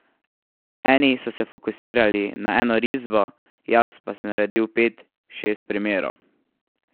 Eni so se fokusirali na eno risbo, jaz pa sem naredil pet, šest primerov.